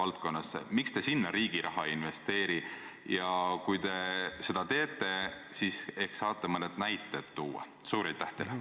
Loomulikult on iga investeeringuga seotud ka riskid ja ohud, kindlasti on nii ka selle väga suure investeeringuga.